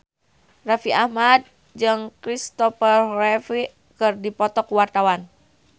Raffi Ahmad jeung Christopher Reeve keur dipoto ku wartawan